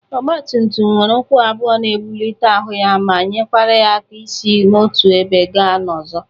Ọgbatumtum nwere ụkwụ abụọ na ebụlite ahụ ya ma nyekwara ya aka isi n'otu ebe ga n'ọzọ.